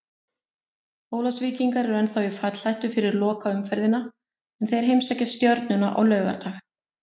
Ólafsvíkingar eru ennþá í fallhættu fyrir lokaumferðina en þeir heimsækja Stjörnuna á laugardag.